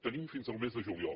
tenim fins al mes de juliol